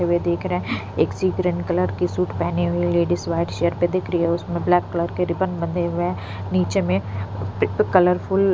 हुए देख रहे हैं एक सी ग्रीन कलर की सूट पहनी हुई लेडीज व्हाइट पे दिख रही है उसमें ब्लैक कलर के रिबन बंधे हुए हैं नीचे में कलरफुल --